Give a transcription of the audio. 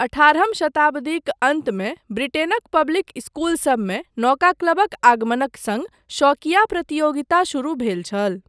अठारहम शताब्दीक अन्तमे ब्रिटेनक पब्लिक स्कूलसबमे 'नौका क्लब'क आगमनक सङ्ग शौकिया प्रतियोगिता शुरू भेल छल।